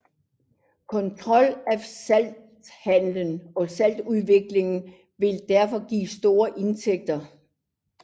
Kontrol af salthandel og saltudvinding ville derfor give store indtægter